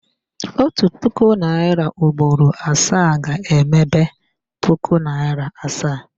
Otu puku naịra ugboro asaa ga-emebe puku naịra asaa